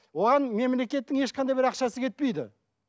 оған мемлекеттің ешқандай бір ақшасы кетпейді